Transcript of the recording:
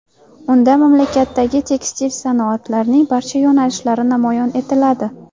Unda mamlakatdagi tekstil sanoatining barcha yo‘nalishlari namoyish etiladi.